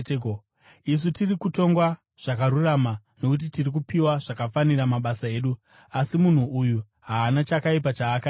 Isu tiri kutongwa zvakarurama, nokuti tiri kupiwa zvakafanira mabasa edu. Asi munhu uyu haana chakaipa chaakaita.”